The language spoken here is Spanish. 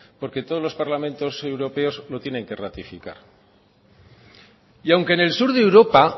porque todos los parlamentos europeos lo tienen que ratificar y aunque en el sur de europa